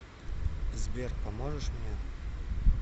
сбер поможешь мне